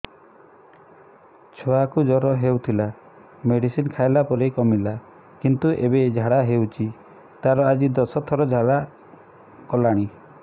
ଛୁଆ କୁ ଜର ହଉଥିଲା ମେଡିସିନ ଖାଇଲା ପରେ କମିଲା କିନ୍ତୁ ଏବେ ଝାଡା ହଉଚି ତାର ଆଜି ଦଶ ଥର ଝାଡା କଲାଣି